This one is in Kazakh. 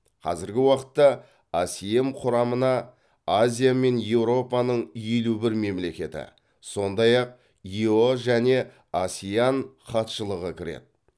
қазіргі уақытта асем құрамына азия мен еуропаның елу бір мемлекеті сондай ақ ео және асеан хатшылығы кіреді